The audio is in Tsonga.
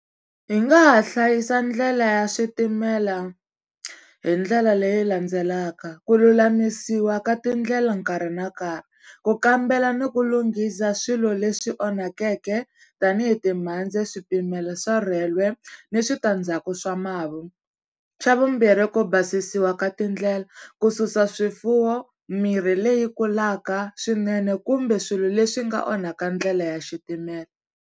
Hi nga ha hlayisa ndlela ya switimela hi ndlela leyi landzelaka, ku lulamisiwa ka tindlela nkarhi na nkarhi, ku kambela ni ku lunghisa swilo leswi onhakeke tanihi timhandzi swipimelo swa rhwele ni switandzhaku swa mavu. Xa vumbirhi ku basisiwa ka tindlela ku susa swifuwo mirhi leyi kulaka swinene kumbe swilo leswi nga onhaka ndlela ya xitimela.